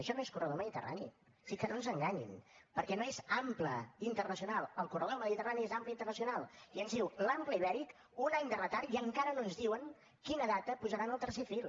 això no és corredor mediterrani o sigui que no ens enganyin perquè no és ample internacional el corredor del mediterrani és ample internacional i ens diu l’ample ibèric un any de retard i encara no ens diuen en quina data posaran el tercer fil